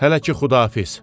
Hələ ki Xudafiz!